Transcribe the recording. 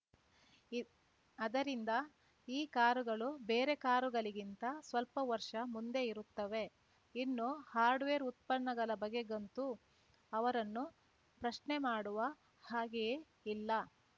ಇದ್ ಅದರಿಂದ ಈ ಕಾರುಗಳು ಬೇರೆ ಕಾರುಗಳಿಗಿಂತ ಸ್ವಲ್ಪ ವರ್ಷ ಮುಂದೆ ಇರುತ್ತವೆ ಇನ್ನು ಹಾರ್ಡ್‌ವೇರ್‌ ಉತ್ಪನ್ನಗಳ ಬಗೆಗಂತೂ ಅವರನ್ನು ಪ್ರಶ್ನೆ ಮಾಡುವ ಹಾಗೆಯೇ ಇಲ್ಲ